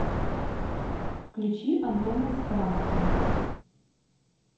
включи антона из франции